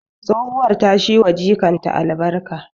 Tsohuwar ta shi wa jikanta albarkatu